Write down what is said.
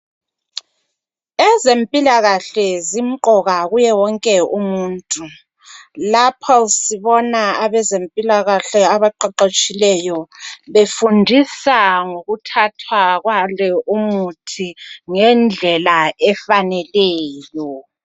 Ezempilakahle zimqoka kuye wonke umuntu. Lapha sibona abezempilakahle abaqeqetshileyo befundisa ngokuthathwa kwalo umuthi ngendlela efaneleyo.